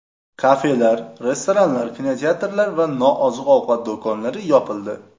Kafelar, restoranlar, kinoteatrlar va nooziq-ovqat do‘konlari yopildi .